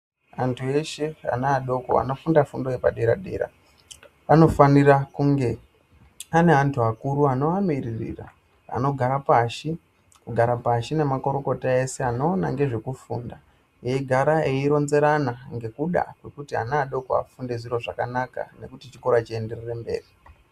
Antu eshe ana adoko anofunda fundo yepadera-dera, vanofanira kunge ane antu akuru anovamiririra anogara pashi, kugara nemakorokota ese anoona nezvekufunda, eyi gara eyi ronzerana ngekuda kuti ana adoko vafunde zviro zvakanaka, nokuti chikora chienderere mberi.